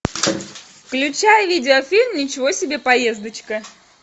включай видеофильм ничего себе поездочка